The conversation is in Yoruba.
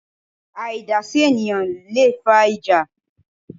Àìdásí ènìyãn leè fa ìjà